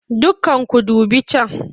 Dukkanku ku dubi can!